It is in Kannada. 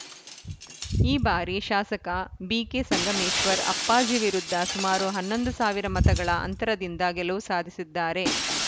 ಈ ಬಾರಿ ಶಾಸಕ ಬಿಕೆ ಸಂಗಮೇಶ್ವರ್‌ ಅಪ್ಪಾಜಿ ವಿರುದ್ಧ ಸುಮಾರು ಹನ್ನೊಂದು ಸಾವಿರ ಮತಗಳ ಅಂತರದಿಂದ ಗೆಲುವು ಸಾಧಿಸಿದ್ದಾರೆ